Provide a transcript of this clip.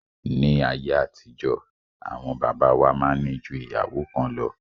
Ní ayé àtijọ́, àwọn bàbá wa máa ń ní ju ìyàwó kan lọ